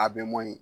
A bɛ mɔbili